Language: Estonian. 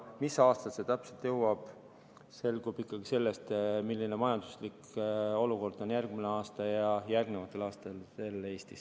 Mis aastal see täpselt kätte jõuab, selgub ikkagi selle põhjal, milline majanduslik olukord on järgmisel aastal ja järgnevatel aastatel Eestis.